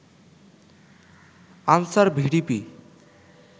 answer VDP